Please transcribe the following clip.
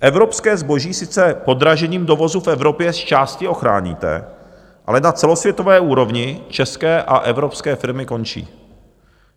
Evropské zboží sice podražením dovozu v Evropě zčásti ochráníte, ale na celosvětové úrovni české a evropské firmy končí.